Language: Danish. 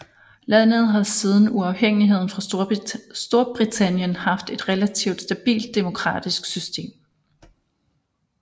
Landet har siden uafhængigheden fra Storbritannien haft et relativt stabilt demokratisk system